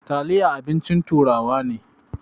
Taliya abincin turawa ne.